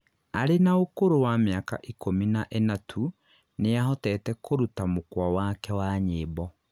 arĩ na ũkũrũ wa mĩaka ikũmi na ĩna tu nĩahotete kũruta mukwa wake wa nyĩmbo